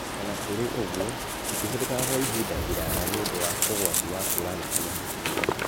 Ona kũrĩ ũguo, itihũthĩkaga kwa ihinda iraya nĩũndũ wa ũgwati wa kura gwa thakame hakiri-inĩ